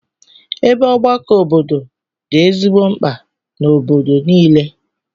Ebe ọgbakọ obodo dị ezigbo mkpa n'obodo niile.